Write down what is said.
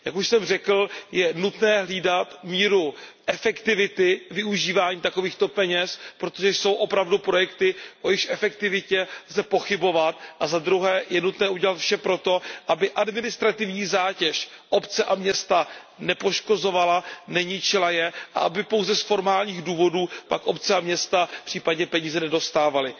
Jak už jsem řekl, je nutné hlídat míru efektivity využívání takovýchto peněz, protože jsou opravdu projekty, o jejichž efektivitě lze pochybovat, a za druhé je nutné udělat vše proto, aby administrativní zátěž obce a města nepoškozovala, neničila je a aby pouze z formálních důvodů pak obce a města případně peníze nedostávaly.